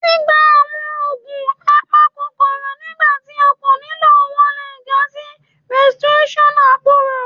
Gbigba awọn oogun apakokoro nigbati o ko nilo wọn le ja si resistance aporo.